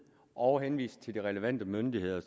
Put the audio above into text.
og henviser til de relevante myndigheder